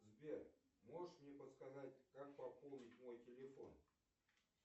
сбер можешь мне подсказать как пополнить мой телефон